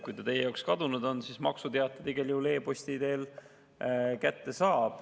Kui ta teie jaoks kadunud on, siis maksuteate saab ta igal juhul e-posti teel kätte.